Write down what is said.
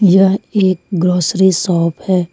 यह एक grocery shop है।